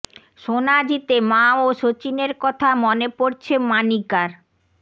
সোনা জিতে মা ও সচিনের কথা মনে পড়ছে মানিকার